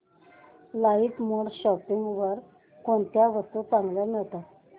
LimeRoad shopping site वर कोणत्या वस्तू चांगल्या मिळतात